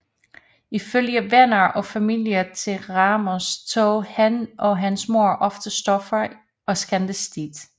Ifølge venner og familie til Ramos tog han og hans mor ofte stoffer og skændtes tit